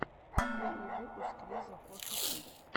первый выпуск лиза коши ту